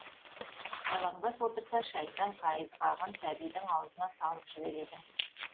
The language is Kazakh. жалаңбас отырса шайтан қайызғағын сәбидің аузына салып жібереді